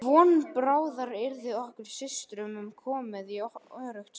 Von bráðar yrði okkur systrunum komið í öruggt skjól.